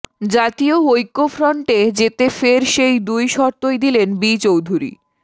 জাতীয় ঐক্যফ্রন্টে যেতে ফের সেই দুই শর্তই দিলেন বি চৌধুরী